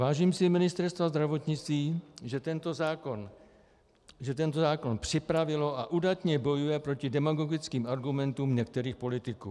Vážím si Ministerstva zdravotnictví, že tento zákon připravilo a udatně bojuje proti demagogickým argumentům některých politiků.